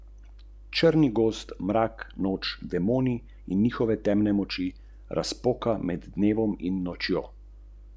Ali to pomeni, da inovativno sankcionirate tudi svoje zaposlene za napake ali za to, ker ne dosežejo zastavljenega cilja?